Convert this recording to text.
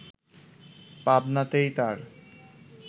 পাবনাতেই তার